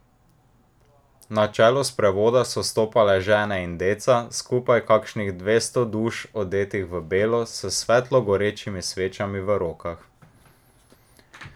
Na čelu sprevoda so stopale žene in deca, skupaj kakšnih dvesto duš, odetih v belo, s svetlo gorečimi svečami v rokah.